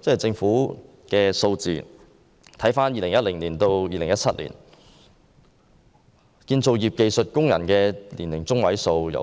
政府的數字顯示，在2010年至2017年期間，建造業技術工人的年齡中位數從 48.2